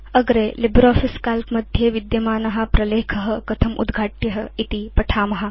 अग्रे LibreOffice Calc मध्ये विद्यमान प्रलेख कथम् उद्घाट्य इति वयं पठिष्याम